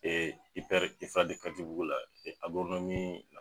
katibugu la